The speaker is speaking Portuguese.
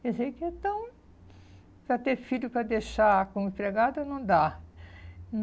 Quer dizer que então... Para ter filho, para deixar como empregada, não dá.